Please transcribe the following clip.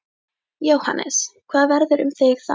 Jóhannes: Hvað verður um þig þar?